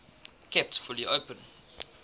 kept fully open